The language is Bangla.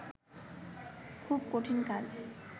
খুবই কঠিন কাজ